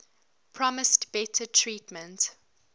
promised better treatment